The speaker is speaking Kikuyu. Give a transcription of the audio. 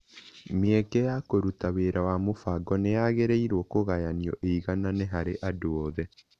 Mĩeke ya kũruta wĩra wa mũbango nĩ yagĩrĩirũo kũgayanio ĩiganaine harĩ andũ othe.